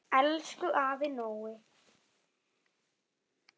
Elsku afi Nói.